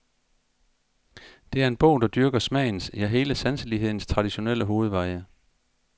Det er en bog, der dyrker smagens, ja, hele sanselighedens traditionelle hovedveje.